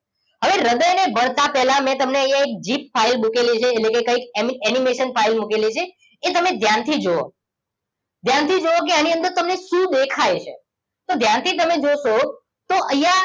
હવે હ્રદય ને ભણતા પેલા મેં તમને અહિયાં એક ફોરેન મુકેલી છે એટલેકે કઈક એનિમેશન લાઇફ મુકેલી છે એ તમે ધ્યાન થીજોવો ધ્યાન થીજુવો કે આની અંદર તમને શું દેખાય છે તો ધ્યાનથી તમે જોશો તો અહિયાં